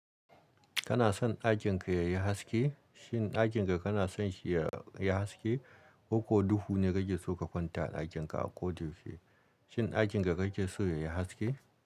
Kana son aikin ka ya yi haske? Shin dakinka ka kana son shi ya yi haske? Ko ko duhu ne kake so ka kwanta a aikin ka ko dufi? Shin dakinka ka kake so ya yi haske?